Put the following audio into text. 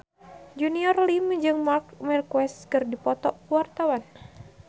Junior Liem jeung Marc Marquez keur dipoto ku wartawan